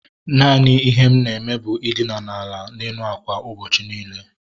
Naanị ihe m na-eme bụ i dina ala n'elu ákwà ụbọchị niile